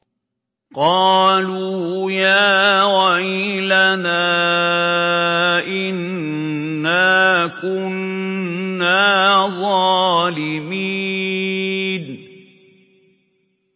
قَالُوا يَا وَيْلَنَا إِنَّا كُنَّا ظَالِمِينَ